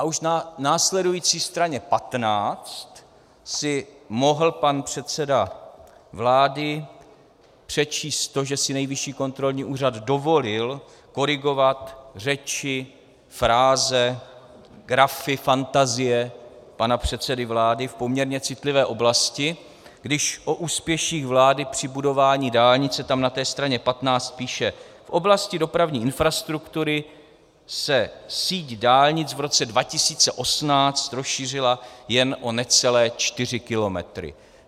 A už na následující straně 15 si mohl pan předseda vlády přečíst to, že si Nejvyššího kontrolní úřad dovolil korigovat řeči, fráze, grafy, fantazie pana předsedy vlády v poměrně citlivé oblasti, když o úspěších vlády při budování dálnice tam na té straně 15 píše: V oblasti dopravní infrastruktury se síť dálnic v roce 2018 rozšířila jen o necelé čtyři kilometry.